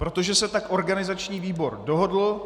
Protože se tak organizační výbor dohodl.